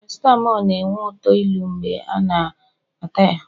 paracitamol na-enwe uto ilu mgbe a na-ata ya